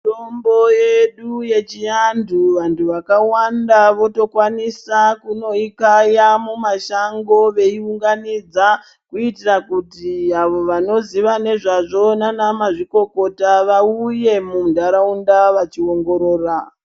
Mitombo yedu yechivantu vantu vakawanda votokwanisa kunoikaya mumashango veiunganidza. Kuitira kuti avo vanoziya nezvazvo vana mazvikokota vauye munharaunda vachiongorora.